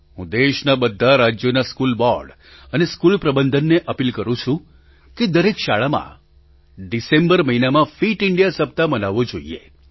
હું દેશનાં બધાં રાજ્યોનાં સ્કૂલ બૉર્ડ અને સ્કૂલ પ્રબંધનને અપીલ કરું છું કે દરેક શાળામાં ડિસેમ્બર મહિનામાં ફિટ ઇન્ડિયા સપ્તાહ મનાવવો જોઈએ